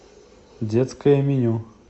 детское меню